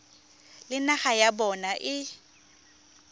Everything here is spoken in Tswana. le naga ya bona e